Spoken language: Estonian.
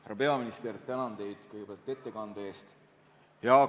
Härra peaminister, tänan teid kõigepealt ettekande eest!